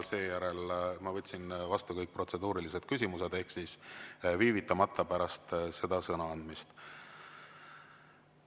Seejärel ma võtsin vastu kõik protseduurilised küsimused viivitamata pärast seda sõnaandmist.